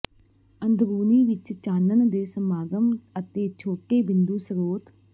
ਅੰਦਰੂਨੀ ਵਿੱਚ ਚਾਨਣ ਦੇ ਸਮਾਗਮ ਅਤੇ ਛੋਟੇ ਬਿੰਦੂ ਸਰੋਤ